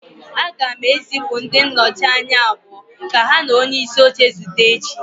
Aga m ezipụ ndị nnọchi anya abụọ ka ha na onyeisi oche zute echi